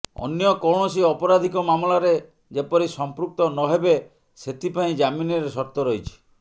ଅନ୍ୟ କୌଣସି ଅପରାଧିକ ମାମଲାରେ ଯେପରି ସଂପୃକ୍ତ ନହେବେ ସେଥିପାଇଁ ଜାମିନରେ ସର୍ତ୍ତ ରହିଛି